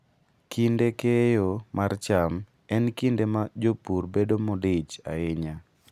Kinde keyo mar cham en kinde ma jopur bedo modich ahinya.